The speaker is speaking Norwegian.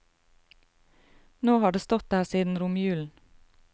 Nå har det stått der siden romjulen.